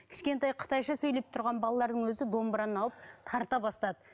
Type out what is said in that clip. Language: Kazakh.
кішкентай қытайша сөйлеп тұрған балалардың өзі домбыраны алып тарта бастады